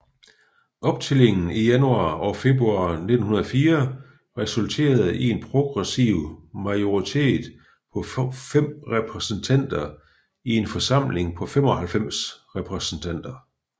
Optællingen i januar og februar 1904 resulterede i en progressiv majoritet på fem repræsentanter i en forsamling på 95 repræsentanter